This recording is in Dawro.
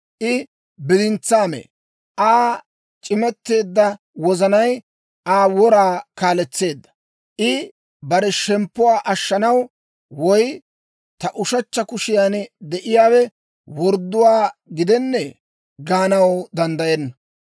I bidintsaa mee; Aa c'imetteedda wozanay Aa wora kaaletseedda. I bare shemppuwaa ashshanaw woy, «Ta ushechcha kushiyaan de'iyaawe wordduwaa gidennee?» gaanaw danddayenna.